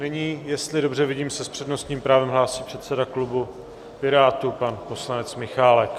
Nyní, jestli dobře vidím, se s přednostním právem hlásí předseda klubu Pirátů, pan poslanec Michálek.